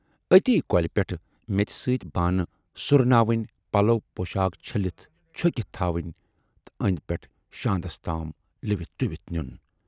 ٲتی کۅلہِ پٮ۪ٹھ میژِ سۭتۍ بانہٕ سُرناوٕنۍ، پلو پۅشاکھ چھٔلِتھ چھُکِتھ تھاوٕنۍ تہٕ اَندٕ پٮ۪ٹھٕ شاندس تام لِوِتھ ڈُوِتھ نِیُن۔